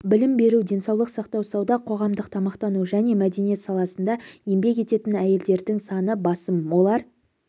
білім беру денсаулық сақтау сауда қоғамдық тамақтану және мәдениет саласында еңбек ететін әйелдердің саны басым олар